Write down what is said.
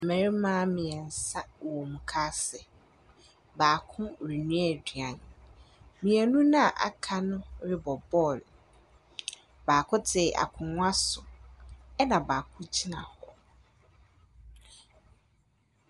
Mmarima mmiɛnsa wɔ mukaase. Baako renua aduane. Mmienu na aka no rebɔ bɔɔl. Baako te akonwa so ɛna baako gyina hɔ.